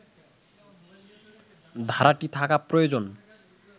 ধারাটি থাকা প্রয়োজন